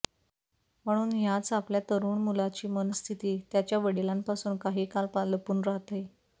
पण ह्याच आपल्या तरुण मुलाची मनःस्थिती त्याच्या वडिलां पासून काही काल लपून रहाते